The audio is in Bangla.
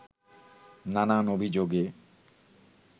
নানান অভিযোগে